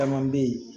Caman bɛ yen